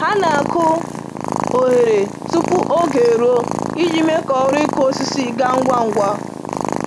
Ha na-akụ oghere tupu oge eruo iji mee ka ọrụ ịkụ osisi gaa ngwa ngwa